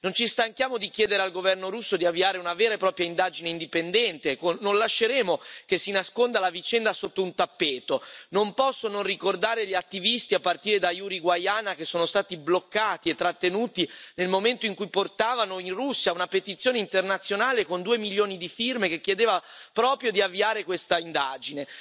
Non ci stanchiamo di chiedere al governo russo di avviare una vera e propria indagine indipendente, non lasceremo che si nasconda la vicenda sotto un tappeto, non posso non ricordare gli attivisti, a partire da Yuri Guaiana, che sono stati bloccati e trattenuti nel momento in cui portavano in Russia una petizione internazionale con due milioni di firme, che chiedeva proprio di avviare questa indagine.